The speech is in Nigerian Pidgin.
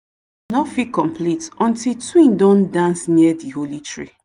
no fit complete until twin don dance near thee holy tree.